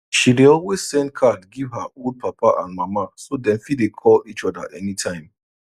she dey always send card give her old papa and mama so dem fit dey call each oda any time